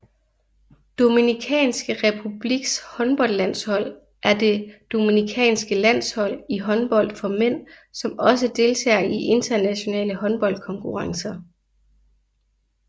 Dominikanske Republiks håndboldlandshold er det dominikanske landshold i håndbold for mænd som også deltager i internationale håndboldkonkurrencer